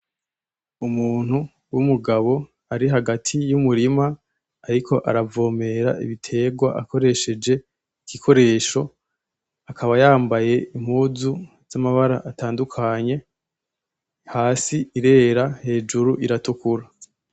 Umuntu w'umugabo ari hagati y'umurima ariko aravomera ibitegwa akoresheje igikoresho, akaba yambaye impuzu z'amabara atandukanye hasi irera hejuru iratukura.